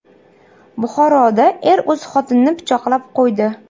Buxoroda er o‘z xotinini pichoqlab qo‘ydi.